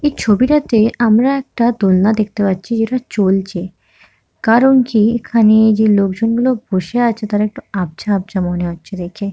এই ছবিটাতে আমরা একটা দোলনা দেখতে পাচ্ছি যেটা চলছে কারণ কি এখানে যে লোকজন গুলো বসে আছে তারা একটু আবঝা আবঝা মনে হচ্ছে দেখে ।